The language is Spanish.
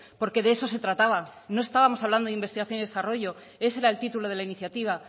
porque de eso se trataba no estábamos hablando de investigación y desarrollo ese era el título de la iniciativa